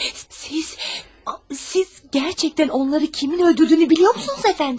Siz, siz, siz həqiqətən onları kimin öldürdüyünü bilirsinizmi, cənab?